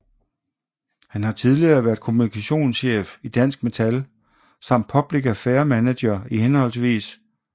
Han har tidligere været kommunikationschef i Dansk Metal samt Public Affairs Manager i hhv